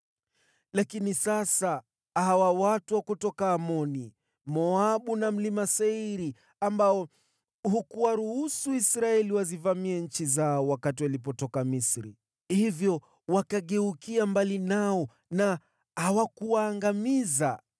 “Lakini sasa hawa watu wa kutoka Amoni, Moabu na Mlima Seiri, ambao hukuwaruhusu Israeli wazivamie nchi zao wakati walitoka Misri, hivyo wakageukia mbali nao na hawakuwaangamiza,